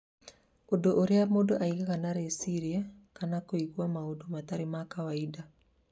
ũndũ ũrĩa mũndũ agĩaga na rĩciria kana kũigua maũndũ matarĩ ma kawaida